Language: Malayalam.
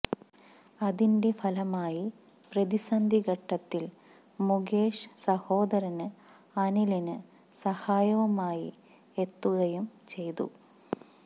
അതിന്റെ ഫലമായി പ്രതിസന്ധിഘട്ടത്തില് മുകേഷ് സഹോദരന് അനിലിന് സഹായവുമായി എത്തുകയും ചെയ്തു